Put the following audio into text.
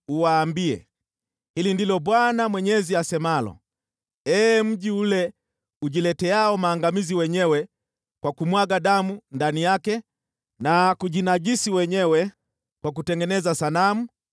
uuambie: ‘Hili ndilo Bwana Mwenyezi asemalo: Ee mji ule ujileteao maangamizi wenyewe kwa kumwaga damu ndani yake na kujinajisi wenyewe kwa kutengeneza sanamu,